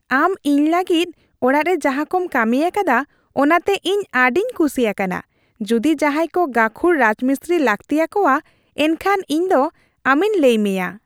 ᱟᱢ ᱤᱧ ᱞᱟᱹᱜᱤᱫ ᱚᱲᱟᱜ ᱨᱮ ᱡᱟᱦᱟᱸᱠᱚᱢ ᱠᱟᱹᱢᱤ ᱟᱠᱟᱫᱟ, ᱚᱱᱟᱛᱮ ᱤᱧ ᱟᱹᱰᱤᱧ ᱠᱩᱥᱤ ᱟᱠᱟᱱᱟ ᱾ ᱡᱩᱫᱤ ᱡᱟᱦᱟᱸᱭ ᱠᱚ ᱜᱟᱹᱠᱷᱩᱲ ᱨᱟᱡᱢᱤᱥᱛᱨᱤ ᱞᱟᱹᱠᱛᱤ ᱟᱠᱚᱣᱟ, ᱮᱱᱠᱷᱟᱱ ᱤᱧᱫᱚ ᱟᱢᱤᱧ ᱞᱟᱹᱭ ᱢᱮᱭᱟ ᱾